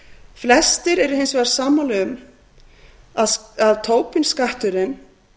flestir eru hins vegar sammála um að tobin skatturinn